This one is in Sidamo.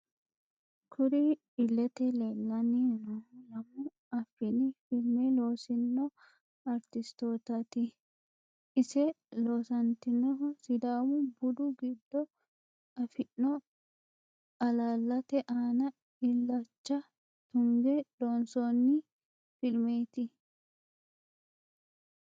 Kurri iilete leellani noohu lamu afini filime loosino aritisitoottati ise loosatinohu sidàamu budu giddo afino alaalate aana illacha tunge loonsonni filimeeti